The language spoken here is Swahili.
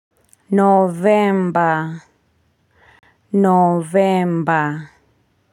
Novemba. Novemba.